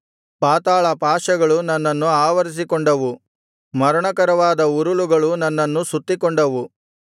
ಪಾತಾಳಪಾಶಗಳು ನನ್ನನ್ನು ಆವರಿಸಿಕೊಂಡವು ಮರಣಕರವಾದ ಉರುಲುಗಳು ನನ್ನನ್ನು ಸುತ್ತಿಕೊಂಡವು